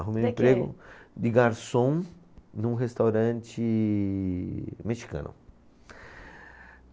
Arrumei o emprego de garçom num restaurante mexicano.